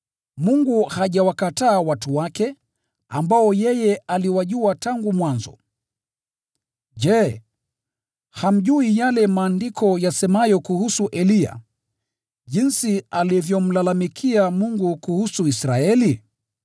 Mungu hajawakataa watu wake, ambao yeye aliwajua tangu mwanzo. Je, hamjui yale Maandiko yasemayo kuhusu Eliya, jinsi alivyomlalamikia Mungu kuhusu Israeli?